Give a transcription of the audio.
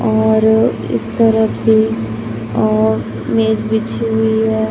और इस तरफ भी और मेज बिछी हुई है।